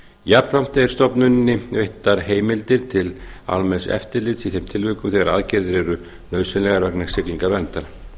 jafnframt er stofnuninni veittar heimildir til almenns eftirlits í þeim tilvikum þegar aðgerðir eru nauðsynlegar vegna siglingaverndar